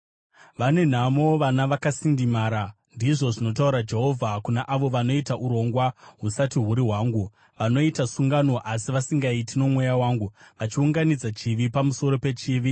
“Vane nhamo vana vakasindimara,” ndizvo zvinotaura Jehovha, “kuna avo vanoita urongwa husati huri hwangu, vanoita sungano, asi vasingaiti noMweya wangu, vachiunganidza chivi pamusoro pechivi;